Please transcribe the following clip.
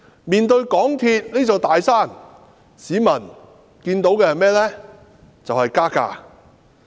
面對港鐵公司這座"大山"，市民看到的就是加價。